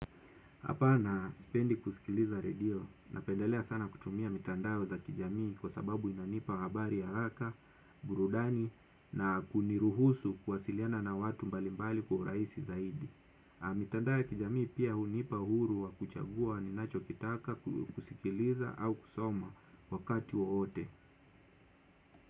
Hapa na spendi kusikiliza radio. Napendelea sana kutumia mitandao za kijamii kwa sababu inanipa habari haraka, burudani na kuniruhusu, kuwasiliana na watu mbalimbali kwa uraisi zaidi. Mitandae kijamii pia, hunipa huru wa kuchagua ninacho kitaka kusikiliza au kusoma, wakati waote.